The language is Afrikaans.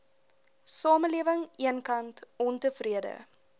samelewing eenkant ontevrede